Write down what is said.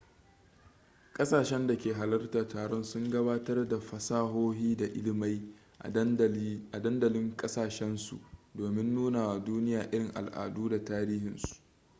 kasashen da ke halartar taron sun gabatar da fasahohi da ilimai a dandalin kasashen su domin nuna wa duniya irin al'adu da tarihinsu